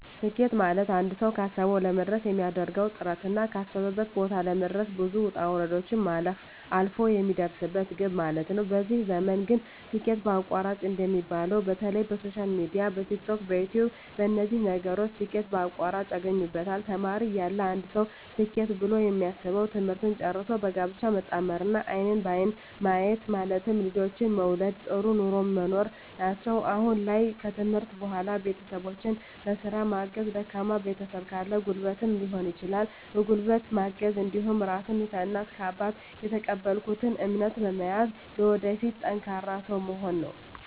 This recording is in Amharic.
ስኬት ማለትአንድ ሰዉ ካሰዉ ለመድረስ የሚያደርገዉ ጥረትና ካሰበበት ቦታ ለመድረስ ብዙ ዉጣ ዉረዶችን ማለፍ አልፍ የሚደርስበት ግብ ማለት ነዉ በዚህ ዘመን ግን ስኬት በአቋራጭ እንደሚባለዉ በተለይ በሶሻል ሚድያ በቲክቶክ በዩትዩብ በነዚህ ነገሮች ስኬት በአቋራጭ ያገኙበታል ተማሪ እያለ አንድ ሰዉ ስኬት ብሎ የሚያስበዉ ትምህርትን ጨርሶ በጋብቻ መጣመርና አይንን በአይን ማየት ማለትም ልጆችን መዉለድ ጥሩ ኑሮ መኖር ናቸዉ አሁን ላይ ከትምህርት በኋላ ቤተሰቦቸን በስራ ማገዝ ደካማ ቤተሰብ ካለ በጉልበትም ሊሆን ይችላል በጉልበት ማገዝ እንዲሁም ራሴን ከእናት ከአባት የተቀበልኩትን እምነት በመያዝ ለወደፊት ጠንካራ ሰዉ መሆን ነዉ